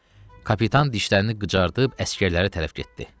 Kapitan dişlərini qıcayıb əsgərlərə tərəf getdi.